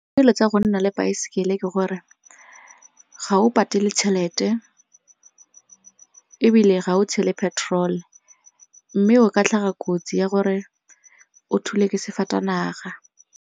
Tsa go nna le baesekele ke gore ga o patele tšhelete ebile ga o tshele petrol mme o ka tlhaga kotsi ya gore o thule ke sefatanaga.